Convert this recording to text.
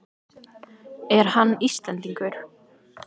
Er hann Íslendingur?